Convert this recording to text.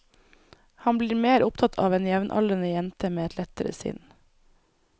Han blir mer opptatt av en jevnaldrende jente med et lettere sinn.